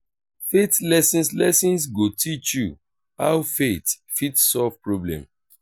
faith lessons lessons go teach you how faith fit solve problem